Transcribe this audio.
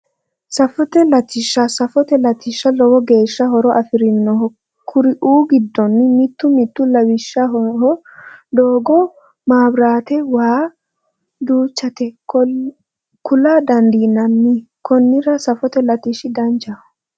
Safote latishsha safote latishshi lowo geesha horo afirino kuri"uu giddonni mitu mitu lawishshaho doogo maabirate waa duuchate kula dandiimanni konnira safote lattishi danchaho